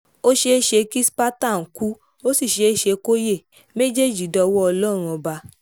ó ṣeé ṣe kí spartan kú ó sì ṣeé ṣe kó yẹ méjèèjì dọwọ́ ọlọ́run ọba